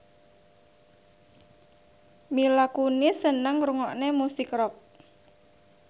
Mila Kunis seneng ngrungokne musik rock